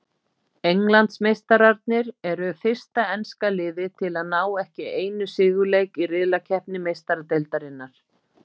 Englandsmeistararnir eru fyrsta enska liðið til að ná ekki einu sigurleik í riðlakeppni Meistaradeildarinnar.